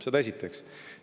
Seda esiteks.